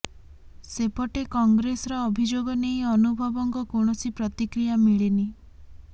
ସେପଟେ କଂଗ୍ରେସର ଅଭିଯୋଗ ନେଇ ଅନୁଭବଙ୍କ କୌଣସି ପ୍ରତିକ୍ରିୟା ମିଳିନି